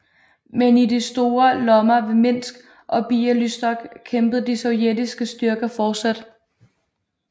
Men i de store lommer ved Minsk og Bialystok kæmpede de sovjetiske styrker fortsat